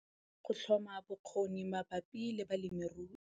Go tlhoma bokgoni mabapi le balemirui